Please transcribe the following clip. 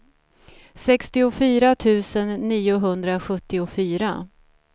sextiofyra tusen niohundrasjuttiofyra